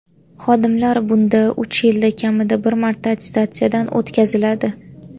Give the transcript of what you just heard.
Xodimlar bunda uch yilda kamida bir marta attestatsiyadan o‘tkaziladi.